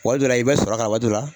Waati dɔ la i bɛ sɔrɔ k'a la waati dɔ la